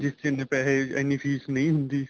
ਜਿਸ ਚ ਇੰਨੇ ਪੈਸੇ ਐਨੀਂ ਫ਼ੀਸ ਨਹੀਂ ਹੁੰਦੀ